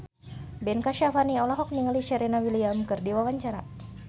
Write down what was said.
Ben Kasyafani olohok ningali Serena Williams keur diwawancara